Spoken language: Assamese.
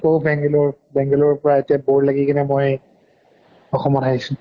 কʼ বেঙ্গালৰ, বেঙ্গালৰৰ পৰা এতিয়া bore লাহি কেনে মই অসমত আহিছো